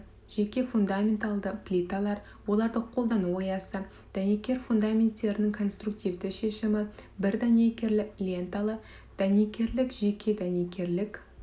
тегіс фундаменталды плиталар оларды қолдану аясы дәнекер фундаменттердің конструктивті шешімі бір дәнекерлі ленталы дәнекерлік жеке дәнекерлік